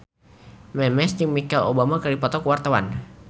Memes jeung Michelle Obama keur dipoto ku wartawan